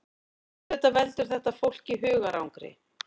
Auðvitað veldur þetta fólki hugarangri